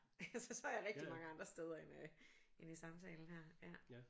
Så er jeg rigtig mange andre steder end øh end i samtalen her ja